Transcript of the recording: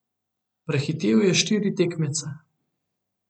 Prehitel je štiri tekmece.